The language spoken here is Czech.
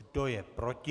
Kdo je proti?